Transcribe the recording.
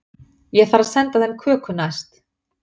Ég þarf að senda þeim köku næst.